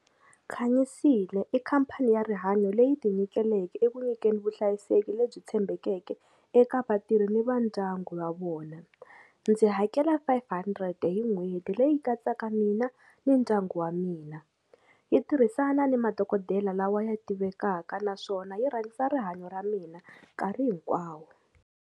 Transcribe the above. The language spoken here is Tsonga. Khanyisile i khampani ya rihanyo leyi ti nyiketeleke eku nyikeni vuhlayiseki lebyi tshembekeke eka vatirhi ni va ndyangu wa vona ndzi hakela five hundred hi n'hweti leyi katsaka mina ni ndyangu wa mina yi tirhisana ni madokodela lawa ya tivekaka naswona yi rhangisa rihanyo ra mina nkarhi hinkwawo.